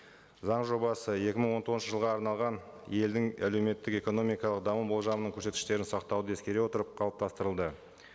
заң жобасы екі мың он тоғызыншы жылға арналған елдің әлеуметтік экономикалық даму болжамының көрсеткіштерін сақтауды ескере отырып қалыптастырылды